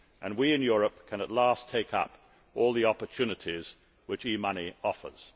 We in Europe can at last take up all the opportunities which e money offers.